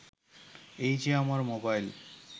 এই যে আমার মোবাইল